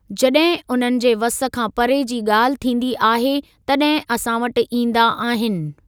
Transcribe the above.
जड॒हिं उन्हनि जे वस खां परे जी गा॒ल्हि थींदी आहे तड॒हिं असां वटि ईंदा आहिनि।